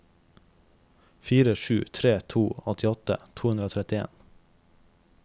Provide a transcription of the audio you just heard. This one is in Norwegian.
fire sju tre to åttiåtte to hundre og trettien